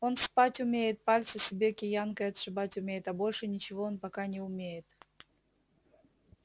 он спать умеет пальцы себе киянкой отшибать умеет а больше ничего он пока не умеет